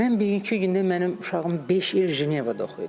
Mən bugünkü gündə mənim uşağım beş il Cenevrədə oxuyub.